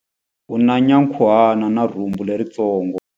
U na nyankhuhana na rhumbu leritsongo.